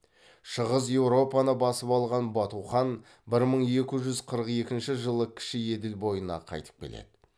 шығыс еуропаны басып алған бату хан бір мың екі жүз қырық екінші жылы кіші еділ бойына қайтып келеді